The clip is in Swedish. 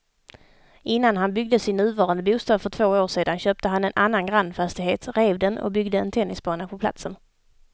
Innan han byggde sin nuvarande bostad för två år sedan köpte han en annan grannfastighet, rev den och byggde en tennisbana på platsen.